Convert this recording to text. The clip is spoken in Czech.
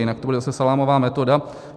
Jinak to bude zase salámová metoda.